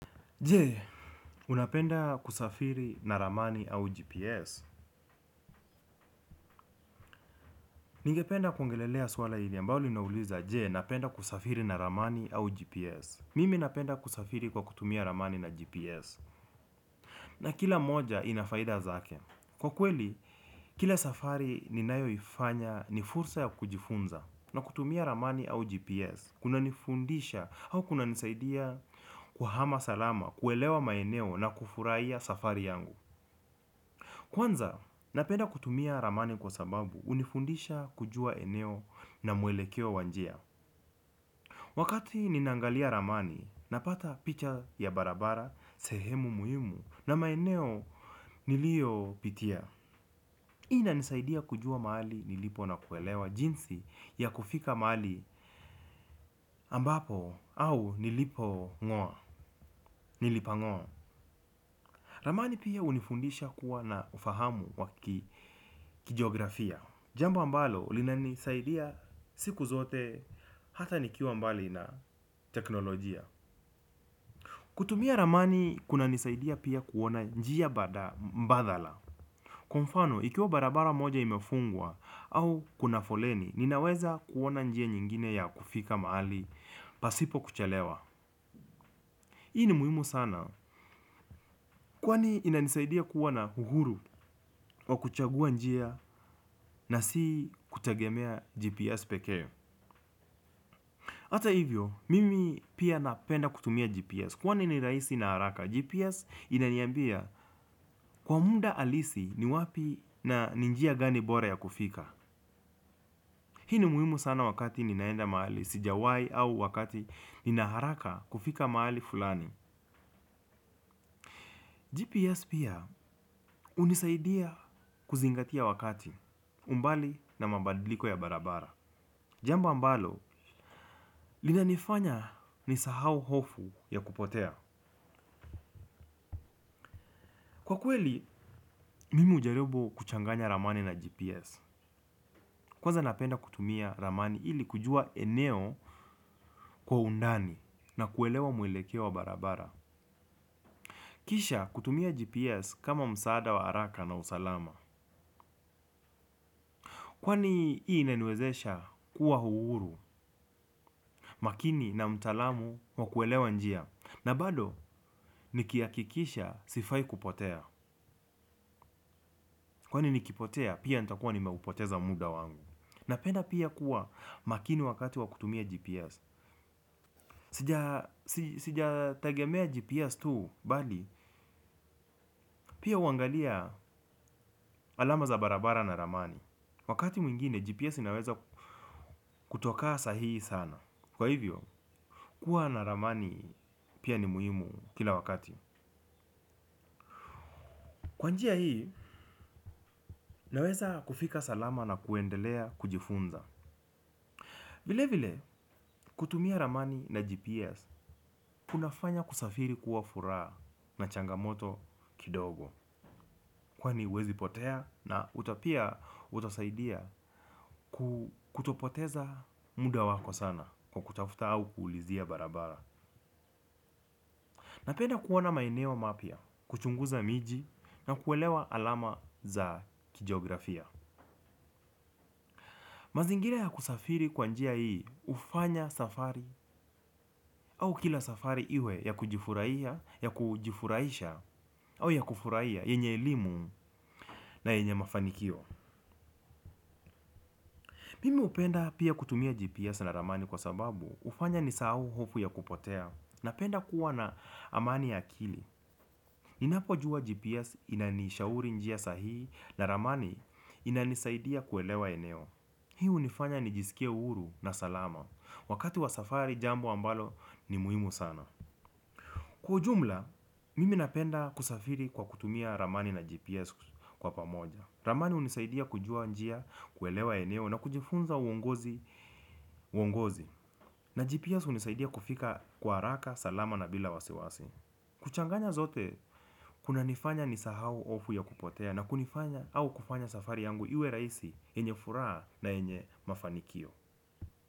Je, unapenda kusafiri na ramani au GPS. Ningependa kuongelelea swala hili ambao linauliza. Je, napenda kusafiri na ramani au GPS. Mimi napenda kusafiri kwa kutumia ramani na GPS. Na kila moja ina faida zake. Kwa kweli, kila safari ninayoifanya ni fursa ya kujifunza. Na kutumia ramani au GPS Kunanifundisha au kunanisaidia kuhama salama. Kuelewa maeneo na kufurahia safari yangu. Kwanza, napenda kutumia ramani kwa sababu hunifundisha kujua eneo na mwelekeo wa njia. Wakati ninaangalia ramani, napata picha ya barabara, sehemu muhimu na maeneo niliopitia. Hii inanisaidia kujua mahali nilipo na kuelewa jinsi ya kufika mahali ambapo au nilipong'oa. Ramani pia hunifundisha kuwa na ufahamu wa kjiografia. Jambo ambalo linanisaidia siku zote hata nikiwa mbali na teknolojia. Kutumia ramani kunanisaidia pia kuona njia bada mbadala. Kwa mfano ikiwa barabara moja imefungwa au kuna foleni. Ninaweza kuona njia nyingine ya kufika mahali pasipo kuchelewa hii ni muhimu sana kwani inanisaidia kuwa na uhuru wa kuchagua njia na si kutegemea GPS pekee hata hivyo, mimi pia napenda kutumia GPS. Kwani ni rahisi na haraka, GPS inaniambia kwa muda halisi ni wapi na ni njia gani bora ya kufika. Hii ni muhimu sana wakati ninaenda mahali, sijawai au wakati nina haraka kufika mahali fulani. GPS pia hunisaidia kuzingatia wakati, umbali na mabadiliko ya barabara. Jamba ambalo, linanifanya nisahau hofu ya kupotea. Kwa kweli, mimi hujaribu kuchanganya ramani na GPS. Kwanza napenda kutumia ramani ili kujua eneo kwa undani na kuelewa mwelekeo wa barabara. Kisha kutumia GPS kama msaada wa haraka na usalama. Kwani hii inaniwezesha kuwa uhuru makini na mtaalamu wa kuelewa njia. Na bado, nikihakikisha sifai kupotea. Kwani nikipotea, pia nitakuwa nimeupoteza muda wangu. Napenda pia kuwa makini wakati wa kutumia GPS. Sijategemea GPS tu bali pia huangalia alama za barabara na ramani. Wakati mwingine GPS inaweza kutokaa sahihi sana. Kwa hivyo, kuwa na ramani pia ni muhimu kila wakati. Kwa njia hii naweza kufika salama na kuendelea kujifunza. Vile vile kutumia ramani na GPS kuna fanya kusafiri kuwa furaha na changamoto kidogo. Kwani huwezi potea na uta pia utasaidia kutopoteza muda wako sana kwa kutafuta au kuulizia barabara. Napenda kuona maeneo mapya, kuchunguza miji na kuelewa alama za kijiografia. Mazingira ya kusafiri kwa njia hii hufanya safari au kila safari iwe ya kujifurahia, ya kujifurahisha au ya kufurahia yenye elimu na yenye mafanikio. Mimi hupenda pia kutumia GPS na ramani kwa sababu hufanya nisahau hofu ya kupotea napenda kuwa na amani ya akili. Ninapojua GPS inanishauri njia sahihi na ramani inanisaidia kuelewa eneo. Hii hunifanya nijisikie huru na salama. Wakati wa safari, jambo ambalo ni muhimu sana. Kwa ujumla, mimi napenda kusafiri kwa kutumia ramani na GPS kwa pamoja. Ramani hunisaidia kujua njia, kuelewa eneo na kujifunza uongozi na GPS hunisaidia kufika kwa haraka salama na bila wasiwasi. Kuchanganya zote, kunanifanya nisahau hofu ya kupotea na kunifanya au kufanya safari yangu iwe rahisi yenye furaha na yenye mafanikio.